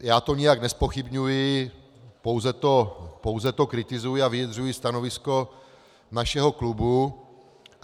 Já to nijak nezpochybňuji, pouze to kritizuji a vyjadřuji stanovisko našeho klubu.